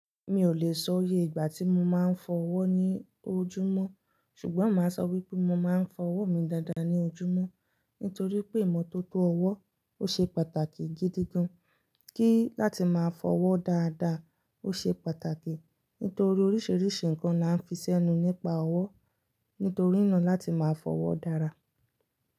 Mi ò lè sọ yé ìgbà tí mo máa ń fọ ọwọ́ ní ojúmọ́, ṣùgbọ́n mà á sọ wípé mo máa ń fọ ọwọ́ mi dáadáa ní ojúmọ́ nítorí pé ìmọ́tótó ọwọ́ ò ṣe pàtàkì gidi gan. Kí láti máa fọ ọwọ́ dáadáa ó ṣe pàtàkì nítorí oríṣiríṣi nǹkan là ń fi sẹ́nu nípa ọwọ́ nítorí iná láti máa fọ ọwọ́ dára.